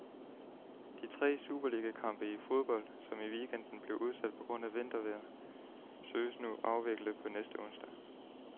De tre superligakampe i fodbold, som i weekenden blev udsat på grund af vintervejret, søges nu afviklet på næste onsdag.